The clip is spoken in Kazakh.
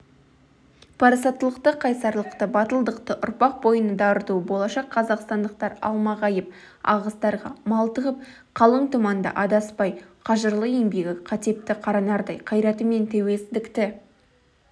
парасаттылықты қайсарлықты батылдықты ұрпақ бойына дарыту болашақ қазақстандықтар алмағайып ағыстарға малтығып қалың тұманда адаспай қажырлы еңбегі қатепті қара нардай қайратымен тәуелсіздікті